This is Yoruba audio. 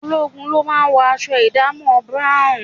Ológun ló máa ń wọ aṣọ ìdámọ̀ búráùn